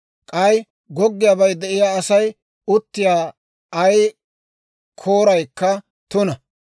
« ‹K'ay goggiyaabay de'iyaa Asay uttiyaa ay kooraykka tuna.